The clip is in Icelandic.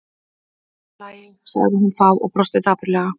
Allt í lagi- sagði hún þá og brosti dapurlega.